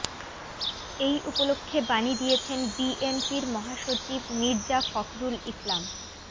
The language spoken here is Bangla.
এ উপলক্ষে বাণী দিয়েছেন বিএনপির মহাসচিব মির্জা ফখরুল ইসলাম